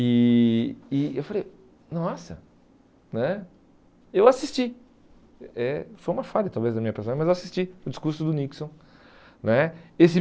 E e eu falei, nossa né, eu assisti, eh foi uma falha talvez da minha personalidade, mas eu assisti o discurso do Nixon né. Esse